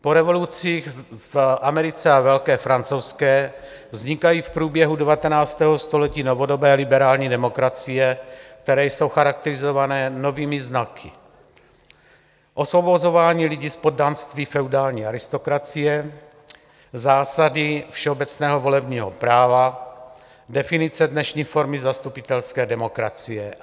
Po revolucích v Americe a Velké francouzské vznikají v průběhu 19. století novodobé liberální demokracie, které jsou charakterizované novými znaky: osvobozování lidí z poddanství feudální aristokracie, zásady všeobecného volebního práva, definice dnešní formy zastupitelské demokracie.